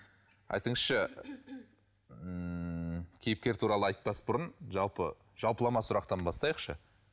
айтыңызшы ммм кейіпкер туралы айтпас бұрын жалпы жалпылама сұрақтан бастайықшы